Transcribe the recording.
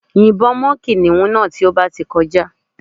Yìnbọn mọ́ kìnìún náà tó bá ti kọjá